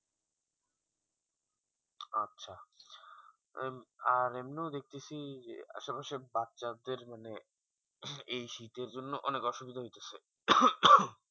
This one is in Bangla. আচ্ছা উম আর এমনি দেখতেসি আসলে সব বাচ্চা দের মানে এই শীতের জন্য অনেক অসুবিধা হইতাছে